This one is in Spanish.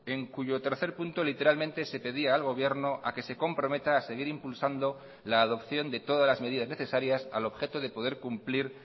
en cuyo tercer punto literalmente se pedía al gobierno a que se comprometa a seguir impulsando la adopción de todas las medidas necesarias al objeto de poder cumplir